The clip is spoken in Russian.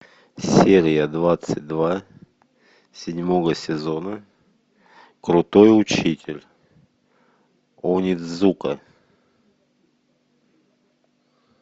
серия двадцать два седьмого сезона крутой учитель онидзука